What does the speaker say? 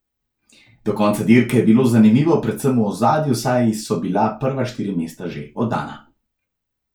Do konca dirke je bilo zanimivo predvsem v ozadju, saj so bila prva štiri mesta že oddana.